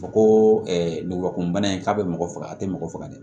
Fɔ ko ngɔbɔgɔbana in k'a bɛ mɔgɔ faga a tɛ mɔgɔ faga dɛ